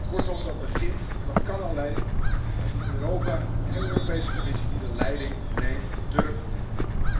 Kortom, dat begint en dat kan alleen met een Europa en een Europese Commissie die de leiding neemt en durft te nemen.